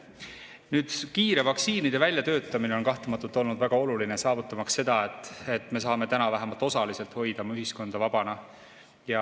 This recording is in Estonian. Vaktsiinide kiire väljatöötamine on kahtlemata olnud väga oluline, saavutamaks seda, et me saame täna vähemalt osaliselt hoida ühiskonda vabana.